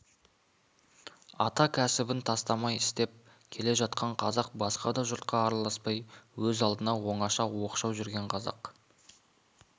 ата кәсібін тастамай істеп келе жатқан қазақ басқа жұртқа араласпай өз алдына оңаша оқшау жүрген қазақ